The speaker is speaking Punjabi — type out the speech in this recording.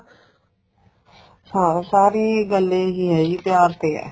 ਹਾਂ ਸਾਰੀ ਗੱਲ ਇਹ ਈ ਏ ਜੀ ਪਿਆਰ ਤੇ ਏ